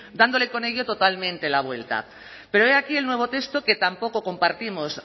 dándole con ello totalmente la vuelta pero he aquí el nuevo texto que tampoco compartimos